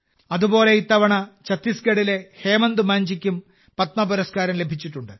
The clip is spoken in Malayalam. അതുപോലെ ഇത്തവണ ഛത്തീസ്ഗഢിലെ ഹേംചന്ദ് മാഞ്ചിക്കും പത്മ പുരസ്കാരം ലഭിച്ചിട്ടുണ്ട്